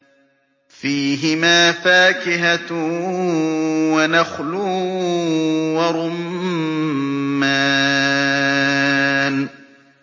فِيهِمَا فَاكِهَةٌ وَنَخْلٌ وَرُمَّانٌ